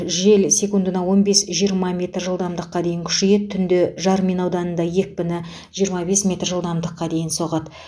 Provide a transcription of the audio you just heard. жел секундына он бес жиырма метр жылдамдықа дейін күшейеді түнде жармин ауданында екпіні жиырма бес метр жылдамдықа дейін соғады